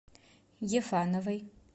ефановой